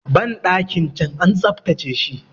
bandakin can an tsaftace shi